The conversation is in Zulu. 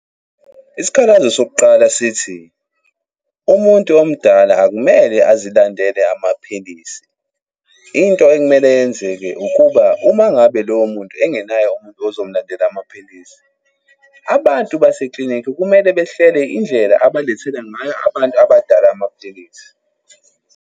Isikhalazo sokuqala sithi, umuntu omdala akumele azilandela amaphilisi. Into ekumele yenzeke ukuba uma ngabe loyo muntu engenaye umuntu ozomlandela amaphilisi, abantu baseklinikhi kumele behlele indlela abalethela ngayo abantu abadala amaphilisi.